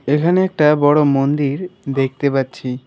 এখানে একটা বড়ো মন্দির দেখতে পাচ্ছি।